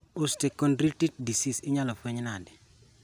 Osteochondritis dissecans inyalo fueny nade